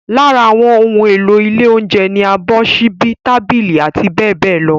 Lára àwọn ohun èlò ilé oúnjẹ ni abọ́, ṣíbí, tábìlì, abbl.